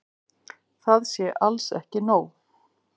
Það sé alls ekki nóg.